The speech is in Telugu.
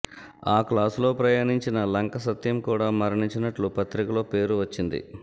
ఆ క్లాసులో ప్రయాణించిన లంకసత్యం కూడా మరణించినట్లు పత్రికలో పేరు వచ్చింది